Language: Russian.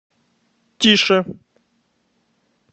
тише